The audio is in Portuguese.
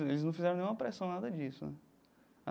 Eles não fizeram nenhuma pressão, nada disso.